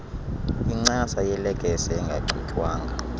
incasa yelekesi engachutywanga